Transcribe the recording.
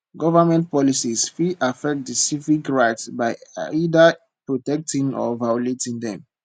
government policies fit affect di civic rights by either protecting or violating dem